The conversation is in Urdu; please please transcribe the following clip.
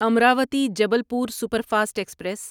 Amravati Jabalpur super fast express